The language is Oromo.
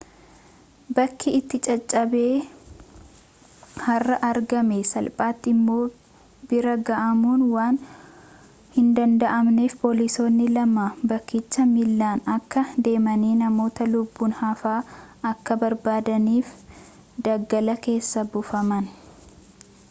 bakki itti caccabe har'a argame salphaatti immoo bira ga'amuun waan hindanda'amneef poolisoonni lama bakkicha miillaan akka deemanii namoota lubbuun hafa akka barbaadaniif daggala keessa buufaman